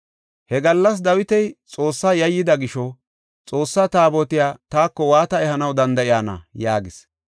He gallas Dawiti Xoossaa yayyida gisho, “Xoossa Taabotiya taako waata ehanaw danda7iyana?” yaagis.